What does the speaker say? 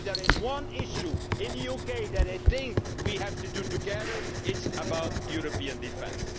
If there is one issue in the UK that they think we have to do together it is about European defence.